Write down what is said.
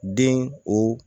Den o